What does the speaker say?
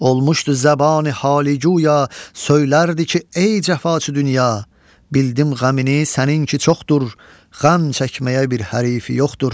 Olmuşdu zəbani halı cuya, söylərdi ki, ey cəfaçı dünya, bildim qəmini səninki çoxdur, qəm çəkməyə bir hərifi yoxdur.